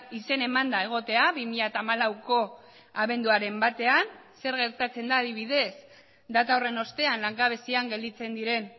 izen emanda egotea bi mila hamalauko abenduaren batean zer gertatzen da adibidez data horren ostean langabezian gelditzen diren